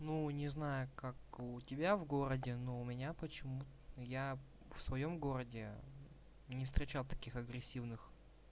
ну не знаю как у тебя в городе но у меня почему-то я в своём городе не встречал таких агрессивных